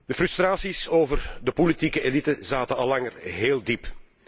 De frustraties over de politieke elite zaten al langer heel diep.